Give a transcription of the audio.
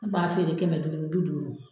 N kun b'a feere kɛmɛ duuru ni bi duuru.